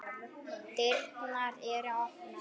Dyrnar eru opnar.